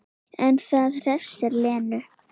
En það hressir Lenu.